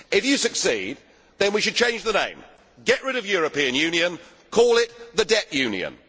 If you succeed, then we should change the name get rid of European Union' and call it the Debt Union'.